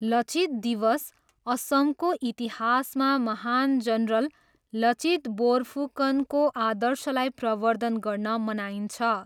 लचित दिवस' असमको इतिहासमा महान जनरल लचित बोर्फुकनको आदर्शलाई प्रवर्द्धन गर्न मनाइन्छ।